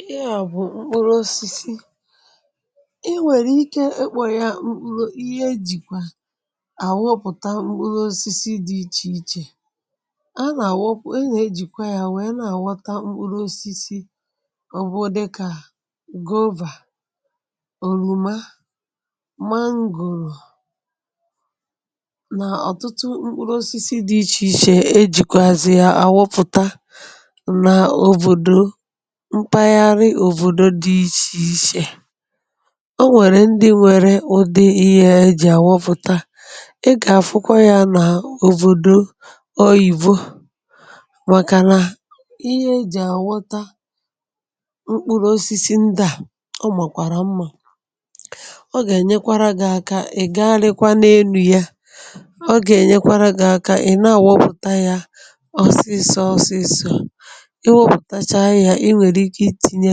ihe a bù mkpụrụ osisi, i nwèrè ike ikpọ̀ ya mkpụrụ ihe ejìkwa àwụpụ̀ta mkpụrụ osisi dị̇ ichè ichè a nà-àwụ̀pụ̀ a nà-ejìkwa ya wèe na-àwọ̀ta mkpụrụ osisi òbu, dịkà gova, òròma mangò nà ọ̀tụtụ mkpụrụ osisi dị̇ ichè ichè ejìkwazị ya àwụpụ̀ta, na òbòdò mpaghara òbòdo dị ichè ichè. O nwèrè ndị nwere ụdị ihe ha eji àwupùta ị gà-àfụkwa ya nà òbòdo oyìbo màkà nà ihe eji àwota mkpụrụ osisi ndà o màkwàrà mmȧ ọ gà-ènyekwara gị aka ị̀ gagharịkwa n’enu ya, ọ gà-ènyekwara gị aka ị̀ na-àwopùta ya ọsịsọ ọsịsọ i wopùtacha ya inwere ike itinye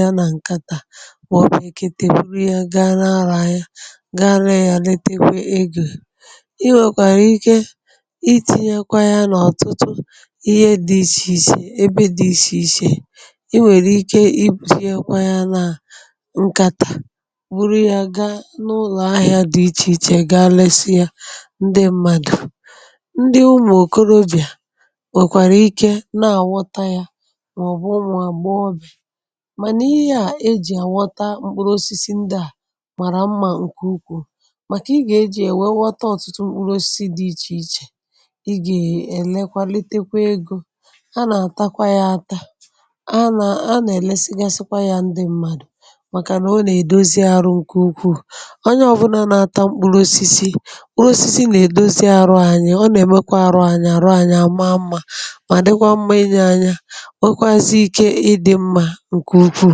ya na nkata ya mọ̀bụ̀ ekete buru ya gaa na gaa ree ya retekwa ego, i nwèkwàrà ike itinyekwa ya n’ọ̀tụtụ ihe dị ichè ichè ebe dị ichè ichè i weli ike i buzie kwa ya na ǹkàtà buru ya gaa n’ụlọ̀ ahịȧ dị ichè ichè gaa lesịa ndị mmadụ̀ ndị ụmụ̀ okorobịà nwèkwàrà ike na-àwọta ya maobu umu agbọ̀ghọ̀bia, mànà ihe yȧ ejì àwọta mkpụrụ osisi ndị à màrà mmȧ ǹkè ukwu̇ màkà ị gà-eji̇ èwè ghọta ọ̀tụtụ mkpụrụ osisi dị̇ ichè ichè ị gà-èlekwa litekwa egȯ, a nà-àtakwa yȧ ata a nà nà-èlesigasikwa yȧ ndị m̀madụ̀ màkà nà o nà-èdozi arụ̇ ǹkè ukwu̇ onye ọbụna nà-ata mkpụrụ osisi, mkpụrụ osisi nà-èdozi arụ anyi ọ nà-èmekwa arụ anyi àrụ anyi àma mmȧ mà dịkwa mma inė anya wekwazị ike ịdị̇ mmȧ nke ukwu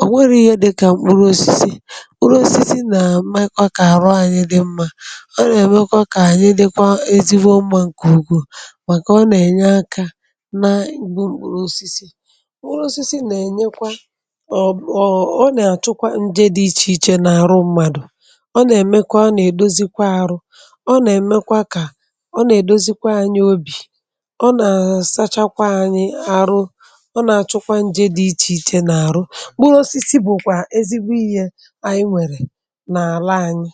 ọ̀ nwere ihe dịkà mkpụrụ osisi. mkpụrụ osisi nà-emekwa kà àrụ anyi dị̇ mmȧ ọ nà-èmekwa kà ànyị dịkwa ezigbo mmȧ ǹkè ukwuu màkà ọ nà-ènye akȧ na ǹgbu mkpụrụ osisi. mkpụrụ osisi nà-ènyekwa um ọ̀ nà-àchụkwa njė dị ichèichè n’àrụ mmadù ọ nà-èmekwa ọ nà-èdozikwa àrụ ọ nà-èmekwa kà ọ nà-èdozikwa anyi obì ọ nà-àsachakwa anyi àrụ o na achukwa nje di iche iche mkpụrụ osisi bụ̀ kwa ezigbo ihė anyị nwèrè n’àla anyị.